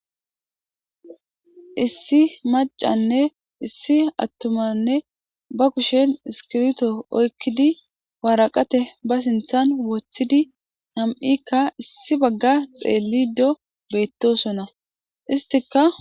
issi macanne issi attumanne ba kushen iskirto oykkidi waaraqate ba sinthan woththidi ham7ikka issi bagga xeelli do beettosona istika